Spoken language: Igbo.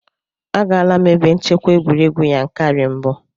Agaala m ebe nchekwa egwuregwu Yankari mbụ.